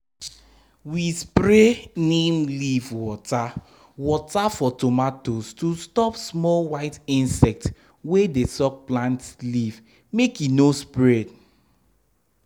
we spray neem leaf water water for tomatoes to stop small white insect wey dey suck plant leaf make e no spread.